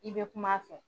I bɛ kuma a fɛ